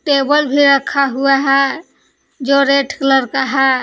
Table भी रखा हुआ है जो रेड कलर का है।